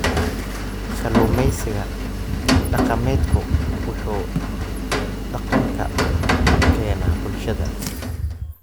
Kalluumeysiga dhaqameedku wuxuu dhaqanka u keenaa bulshada.